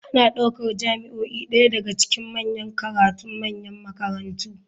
Ana ɗaukar jami'o'i ɗaya daga cikin manyan karatun manyan makarantu.